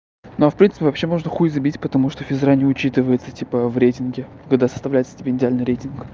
но в принципе вообще можно хуй забить потому что физкультура не учитывается типа в рейтинге когда составляется тебе идеальный рейтинг